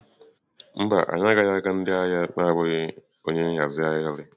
Mba, anyị agaghị aga ndị ahịa na-abụghị onye nhazi ahịrị.